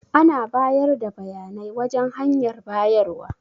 Ana bayar da bayanai wajan hanyar bayarwa.